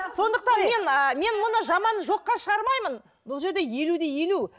сондықтан мен ы мен мұны жаман жоққа шығармаймын бұл жерде елу де елу